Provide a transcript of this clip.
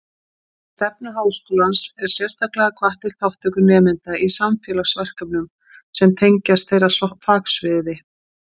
Í stefnu Háskólans er sérstaklega hvatt til þátttöku nemenda í samfélagsverkefnum sem tengjast þeirra fagsviði.